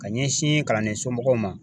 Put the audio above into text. Ka ɲɛsin kalanden somɔgɔw ma.